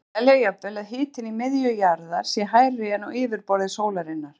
Menn telja jafnvel að hitinn í miðju jarðar sé hærri en á yfirborði sólarinnar.